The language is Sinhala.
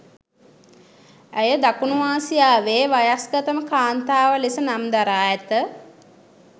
ඇය දකුණු ආසියාවේ වයස්ගතම කාන්තාව ලෙස නම් දරා ඇත